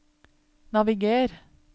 naviger